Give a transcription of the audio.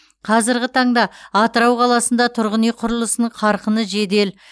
қазырғы таңда атырау қаласында тұрғын үй құрылысының қарқыны жедел